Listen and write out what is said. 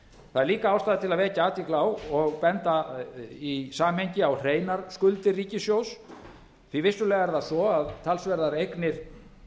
það er líka ástæða til að vekja athygli á og benda í samhengi á hreinar skuldir ríkissjóðs því að vissulega er það svo að talsverðar eignir